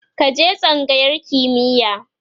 ka je tsangayar kimiya!